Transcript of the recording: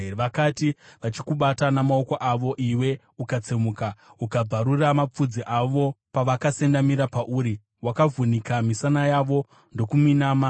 Vakati vachikubata namaoko avo, iwe ukatsemuka, ukabvarura mapfudzi avo; pavakasendamira pauri, wakavhunika misana yavo ndokuminama.